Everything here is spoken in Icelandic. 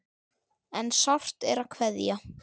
En sárt er að kveðja.